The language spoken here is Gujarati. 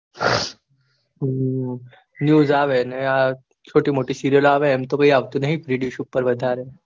હમ news આવે ને આ ચોટી મોટી serial આવે એમતો કોઈ આવતું નહિ freedish